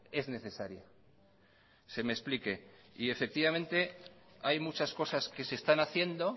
es necesaria se me explique y efectivamente hay muchas cosas que se están haciendo